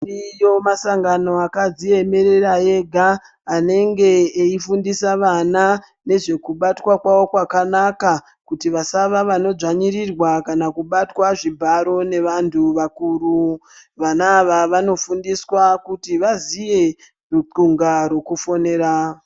Ariyo masangano akadziemerera ega anenge eifundisa vana nezvekubatwa kwavo kwakanaka. Kuti vasava vanodzwanyirirwa kana kubatwa zvibharo nevantu vakuru. Vana ava vanofundiswa kuti vaziye lutxunga rwokufonera.